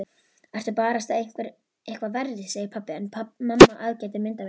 Ertu barasta eitthvað verri, segir pabbi en mamma aðgætir myndavélina.